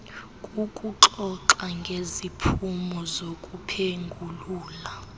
kukuxoxa ngeziphumo zokuphengulula